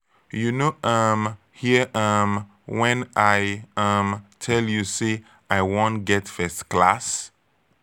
you no um hear um wen i um tel you sey i wan get first class?